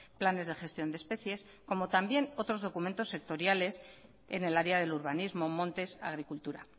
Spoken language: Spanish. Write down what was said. planes de gestión de especies como también otros instrumentos sectoriales en el área del urbanismo montes agricultura